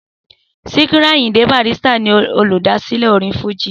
Síkírù Àyìndé Barrister ni olùdásílẹ̀ orin fújì